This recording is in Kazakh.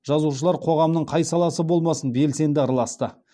жазушылар қоғамның қай саласы болмасын белсенді араласты